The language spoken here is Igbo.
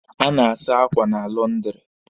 A na-asa akwa na lọndịrị.